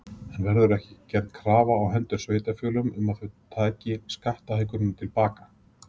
En verður gerð krafa á hendur sveitarfélögum um að þau taki skattahækkunina til baka?